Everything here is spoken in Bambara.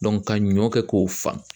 ka ɲɔ kɛ k'o fa.